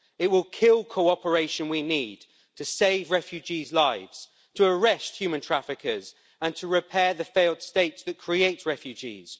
It will kill the cooperation we need to save refugees' lives, to arrest human traffickers and to repair the failed states that create refugees.